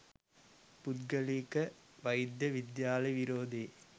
පුද්ගලික වෛද්‍ය විද්‍යාල විරෝධයේ